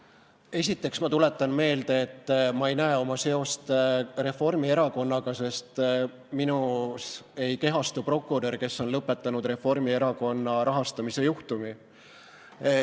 Esiteks tuletan ma meelde, et ma ei näe oma seost Reformierakonnaga, sest minus ei kehastu prokurör, kes on lõpetanud Reformierakonna rahastamise juhtumi.